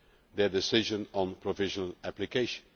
their decision on provisional application.